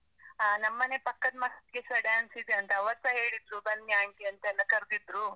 ಹ ನಮ್ಮ್ ಮನೆ ಪಕ್ಕದ್ ಮಕ್ಕ್ಲಿಗ್ ಸ dance ಇದೆ ಅಂತೆ. ಅವರ್ಸ ಹೇಳಿದ್ರು, ಬನ್ನಿ aunty ಅಂತೆಲ್ಲ ಕರ್ದಿದ್ರು.